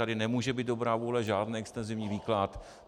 Tady nemůže být dobrá vůle, žádný extenzivní výklad.